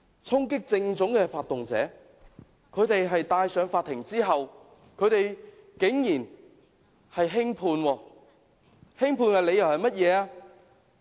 衝擊政府總部的發動者在法庭上竟然獲得輕判，輕判的理由是甚麼？